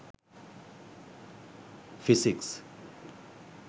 physics